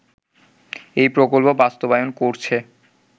এই প্রকল্প বাস্তবায়ন করছে